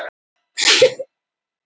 Segir saksóknara vanhæfan